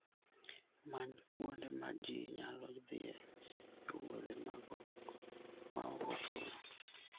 Many kuonde ma ji nyalo dhiye e wuodhe ma ok ochuno.